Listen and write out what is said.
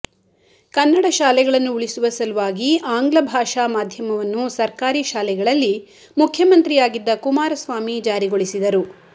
ಕನ್ನಡ ಶಾಲೆಗಳನ್ನು ಉಳಿಸುವ ಸಲುವಾಗಿ ಆಂಗ್ಲಭಾಷಾ ಮಾಧ್ಯಮವನ್ನು ಸರ್ಕಾರಿ ಶಾಲೆಗಳಲ್ಲಿ ಮುಖ್ಯಮಂತ್ರಿಯಾಗಿದ್ದ ಕುಮಾರಸ್ವಾಮಿ ಜಾರಿಗೊಳಿಸಿದರು